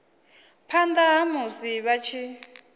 phanḓa ha musi vha tshi